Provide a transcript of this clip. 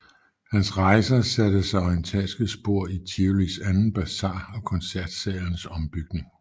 Hans rejser satte sig orientalske spor i Tivolis anden Bazar og Koncertsalens ombygning